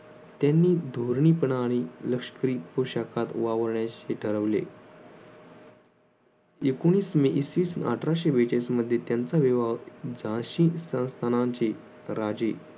त्यांनी धोरणीपणाने लष्करी पोशाखात वावरणे अशे ठरवले. एकोणवीस मे इसवीसन अठराशे बेचाळीस मध्ये त्यांचा विवाह झाशी संस्थानांचे राजे